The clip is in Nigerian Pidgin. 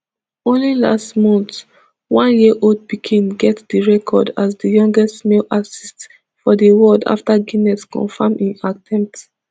only last month oneyearold pickin get di record as di youngest male artist for di world afta guinness confam im attempt